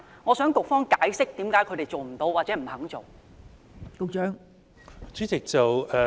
我請局方解釋為何他們做不到或不願意這樣做。